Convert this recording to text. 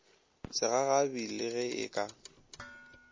segagabi le ge e ka